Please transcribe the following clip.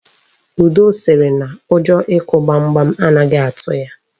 Udo sịrị na ụjọ ịkụ gbamgbam anaghị atụ ya.